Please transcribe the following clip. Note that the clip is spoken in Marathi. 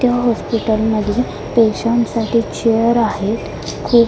त्या हॉस्पिटल मध्ये पेशंट साठी चेअर आहेत खूप --